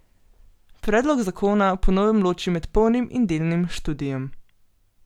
Predlog zakona po novem loči med polnim in delnim študijem.